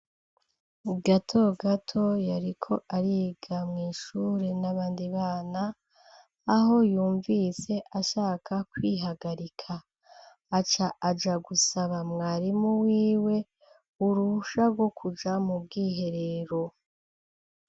Gatogato yariko ariga mw'ishure n'abandi bana aho yumvise ashaka kwihagarika aca aja gusaba mwarimu wiwe urusha rwo kuja mu bwiherero.